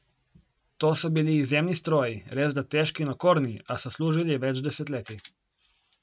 To so bili izjemni stroji, resda težki in okorni, a so služili več desetletij.